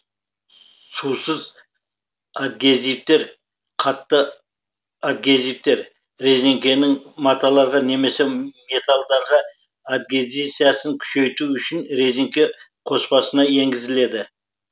сусыз адгезивтер қатты адгезивтер резеңкенің маталарға немесе металдарға адгезиясын күшейту үшін резеңке қоспасына енгізіледі